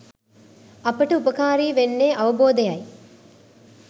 අපට උපකාරී වෙන්නේ අවබෝධයයි